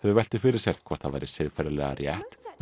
velt því fyrir sér hvort það væri siðferðilega rétt að